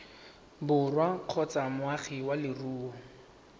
borwa kgotsa moagi wa leruri